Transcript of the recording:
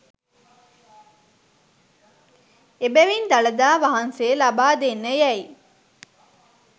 එබැවින් දළදා වහන්සේ ලබා දෙන්න යැයි